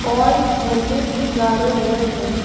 और झंडे भी गाड़े हुए हैं।